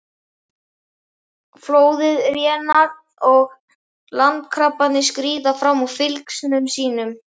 Flóðið rénar og landkrabbarnir skríða fram úr fylgsnum sínum.